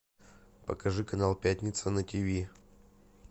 покажи канал пятница на ти ви